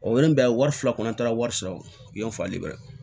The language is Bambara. O ye n bɛn wari fila kɔnɔ an taara wari sɔrɔ yan yan falen bɛɛ